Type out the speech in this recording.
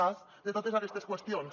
cas de totes aquestes qüestions